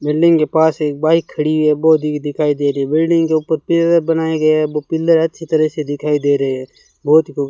building के पास एक बाइक खड़ी है वो भी दिखाई दे रही है बिल्डिंग के ऊपर पिलर बनाए गया हैं वो पिलर अच्छी तरह से दिखाई दे रहे हैं बहुत ही खु --